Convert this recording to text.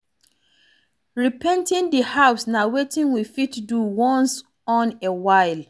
Re-painting di house na wetin we fit do once on a while